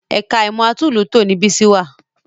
Ẹ̀ka ìmọ̀ ẹ̀kọ́ atúnlùútò ni Bísí wà